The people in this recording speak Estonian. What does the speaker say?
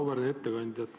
Auväärt ettekandja!